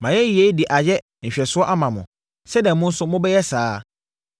Mayɛ yei de ayɛ nhwɛsoɔ ama mo sɛdeɛ mo nso mobɛyɛ saa ara.